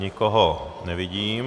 Nikoho nevidím.